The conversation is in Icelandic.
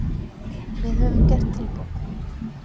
Við höfum gert tilboð.